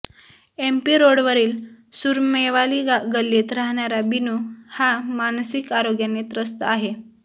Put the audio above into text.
MP रोडवरील सुरमेवाली गल्लीत राहणारा बीनू हा मानसिक आरोग्याने त्रस्त आहे